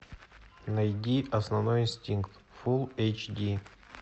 найди основной инстинкт фулл эйч ди